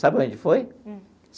Sabe aonde foi?